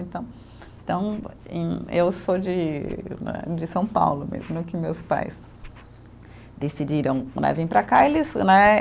Então, então e, eu sou de né, de São Paulo mesmo, no que meus pais decidiram né, vir para cá, eles, né.